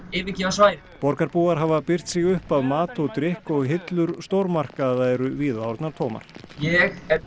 yfirgefa svæðið borgarbúar hafa byrgt sig upp af mat og drykk og hillur stórmarkaða eru víða orðnar tómar ég er